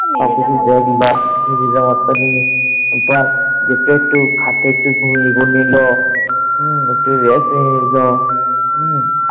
একটু একটু খাটে একটু ঘুমিয়েও নিল। একটু rest নিয়ে নিল।